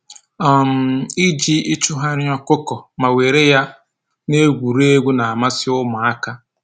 um Iji ịchụgharị ọkụkọ ma were ya na-egwuregwu na-amasị ụmụaka